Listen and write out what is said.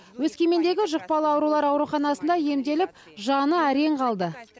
өскемендегі жұқпалы аурулар ауруханасында емделіп жаны әрең қалды